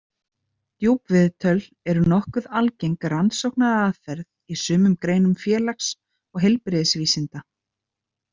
Djúpviðtöl er nokkuð algeng rannsóknaraðferð í sumum greinum félags- og heilbrigðisvísinda.